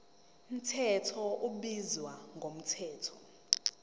mthetho ubizwa ngomthetho